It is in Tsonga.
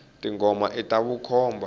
tingomo ita vukhomba